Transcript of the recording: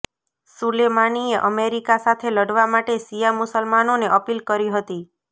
સુલેમાનીએ America સાથે લડવા માટે શિયા મુસલમાનોને અપીલ કરી હતી